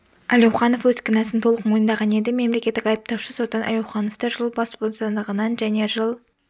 әлеуханов өз кінәсін толық мойындаған еді мемлекеттік айыптаушы соттан әлеухановты жыл бас бостандығынан және жыл